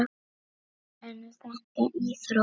En er þetta íþrótt?